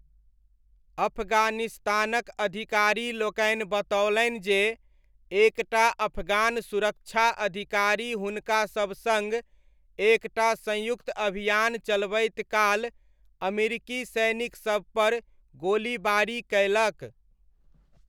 अफगानिस्तानक अधिकारीलोकनि बतओलनि जे एक टा अफगान सुरक्षा अधिकारी हुनकासब सङ्ग एक टा संयुक्त अभियान चलबैत काल अमेरिकी सैनिकसबपर गोलीबारी कयलक।